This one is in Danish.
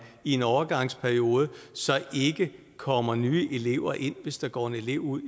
i en overgangsperiode ikke kommer nye elever ind hvis der går en elev ud